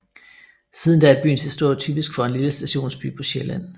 Siden da er byens historie typisk for en lille stationsby på Sjælland